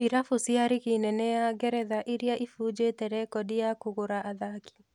irabu cia rigi nene ya Ngeretha iria ibunjĩte rekondi ya kũgũra athaki